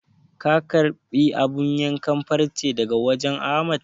Ka karɓi abun yankan farcen daga wajen Ahmad?